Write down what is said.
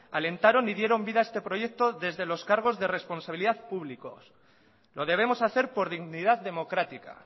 alentaron y dieron vida a este proyecto desde los cargos de responsabilidad públicos lo debemos hacer por dignidad democrática